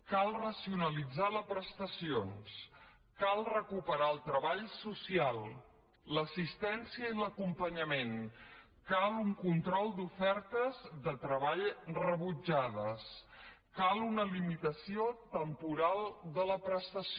cal racionalitzar les prestacions cal recuperar el treball social l’assistència i l’acompanyament cal un control d’ofertes de treball rebutjades cal una limitació temporal de la prestació